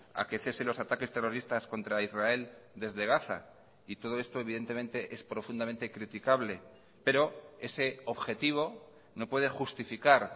a que cese los ataques terroristas contra israel desde gaza y todo esto evidentemente es profundamente criticable pero ese objetivo no puede justificar